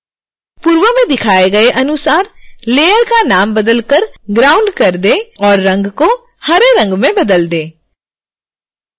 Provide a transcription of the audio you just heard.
पूर्व में दिखाए गए अनुसार लेयर का नाम बदलकर ground कर दें और रंग को हरे रंग में बदल दें